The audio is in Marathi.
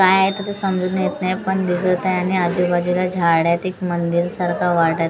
काय आहे तर ते समजून येत नाही पण दिसत आहे आणि आजूबाजूला झाडे आहेत एक मंदिरसारखं वाटत आहे समोर --